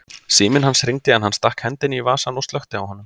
Síminn hans hringdi en hann stakk hendinni í vasann og slökkti á honum.